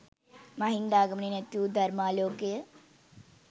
මහින්දාගමනයෙන් ඇතිවු ධර්මාලෝකය